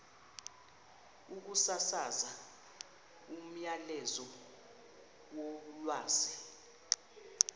ukusasaza umyalezo wolwazi